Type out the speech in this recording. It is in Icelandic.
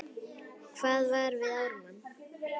Hann var við Ármann.